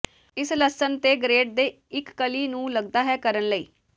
ਇਸ ਲਸਣ ਅਤੇ ਗਰੇਟ ਦੇ ਇੱਕ ਕਲੀ ਨੂੰ ਲੱਗਦਾ ਹੈ ਕਰਨ ਲਈ